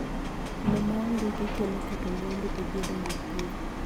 Lowo ma ondiki kelo keto mwandu e gedo mag piny